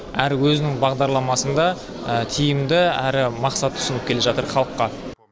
әрі өзінің бағдарламасында тиімді әрі мақсат ұсынып келе жатыр халыққа